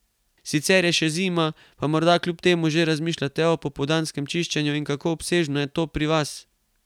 Sicer je še zima, pa morda kljub temu že razmišljate o pomladanskem čiščenju in kako obsežno je to pri vas?